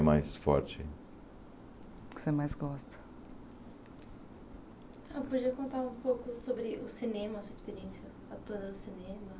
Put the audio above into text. Mais forte Que você mais gosta Então podia contar um pouco sobre o cinema, sua experiência atuada no cinema?